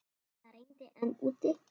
Það rigndi enn úti.